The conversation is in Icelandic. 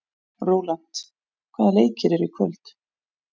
Rólant, hvaða leikir eru í kvöld?